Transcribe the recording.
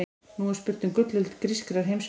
Nú er spurt um gullöld grískrar heimspeki.